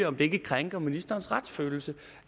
om det ikke krænker ministerens retsfølelse